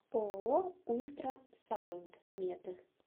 ооо ультрасаунд мед